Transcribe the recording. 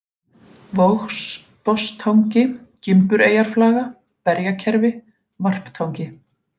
Vogsbotnstangi, Gimbureyjarflaga, Berjakerfi, Varptangi